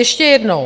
Ještě jednou.